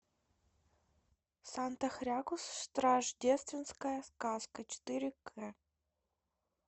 санта хрякус рождественская сказка четыре к